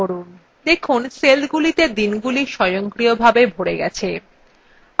দেখুন সেলগুলিতে দিনগুলি স্বয়ংক্রিয়ভাবে ভরে গেছে